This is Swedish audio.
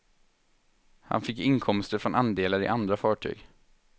Han fick inkomster från andelar i andra fartyg.